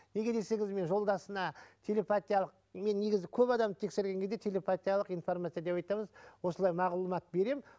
неге десеңіз мен жолдасына телепатиялық мен негізі көп адамды тексерген кезде телепатиялық информация деп айтамыз осылай мағлұмат беремін